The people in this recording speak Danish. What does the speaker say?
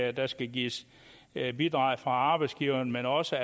at der skal gives bidrag fra arbejdsgiveren men også